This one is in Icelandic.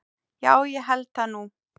Já ég held það nú.